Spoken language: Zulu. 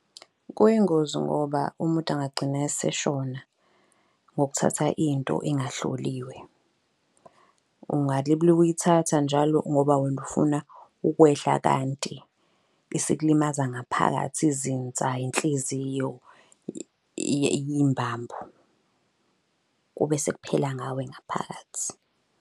Kuyingozi ngoba umuntu angagcina eseshona ngokuthatha into engahloliwe. uyithatha njalo ngoba wena ufuna ukwehla kanti isikulimaza ngaphakathi izinsa, inhliziyo, yimbambo. Kube sekuphela ngawe ngaphakathi.